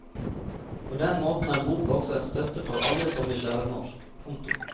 På den måten er boka også en støtte for alle som vil lære norsk. punktum